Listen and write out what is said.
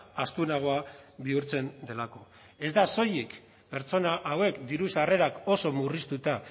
astunagoa bihurtzen delako ez da soilik pertsona hauek diru sarrerak oso murriztuta